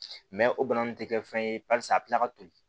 o bana nun tɛ kɛ fɛn ye paseke a bɛ tila ka toli